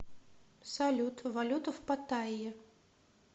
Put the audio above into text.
салют валюта в паттайе